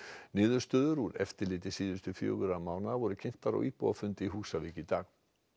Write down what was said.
niðurstöður úr eftirliti síðustu fjögurra mánaða voru kynntar á íbúafundi á Húsavík í dag